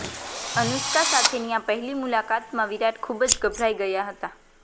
અનુષ્કા સાથેની આ પહેલી મુલાકાતમાં વિરાટ ખુબ જ ગભરાઈ ગયા હતા